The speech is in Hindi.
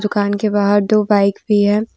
दुकान के बाहर दो बाइक भी है ।